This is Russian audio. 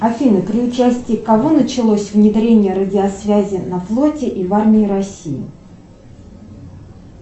афина при участии кого началось внедрение радиосвязи на флоте и в армии россии